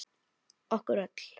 Okkur öll.